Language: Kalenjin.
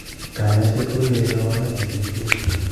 Kany'asyeet ko kere kaabarunet eng' chi tugul.